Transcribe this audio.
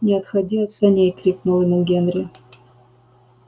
не отходи от саней крикнул ему генри